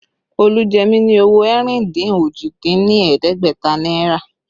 Olu jẹ mí ní owó ẹ̀rìn dín òjì dín ní ẹ̀ẹ́dẹ́gbẹ̀ta náírà